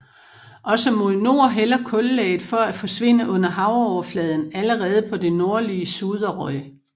Også mod nord hælder kullaget for at forsvinde under havoverfladen allerede på det nordlige Suðuroy